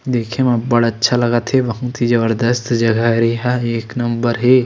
देखे म अब्बड़ अच्छा लगत हे बहुत ही जबरजस्त जगह हे एक नंबर हे।